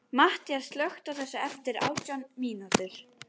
Mattías, slökktu á þessu eftir átján mínútur.